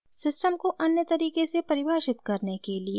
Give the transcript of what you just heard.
system को अन्य तरीका से परिभाषित करने के लिए टाइप करें